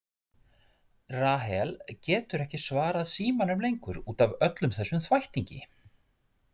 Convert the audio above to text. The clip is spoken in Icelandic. Rahel getur ekki svarað símanum lengur út af öllum þessum þvættingi.